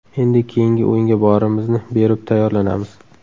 Endi keyingi o‘yinga borimizni berib tayyorlanamiz.